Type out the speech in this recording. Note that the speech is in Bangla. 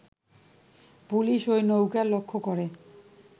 পুলিশ ঐ নৌকা লক্ষ্য করে